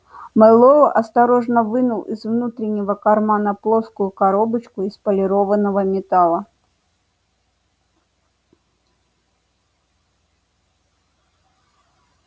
мэллоу осторожно вынул из внутреннего кармана плоскую коробочку из полированного металла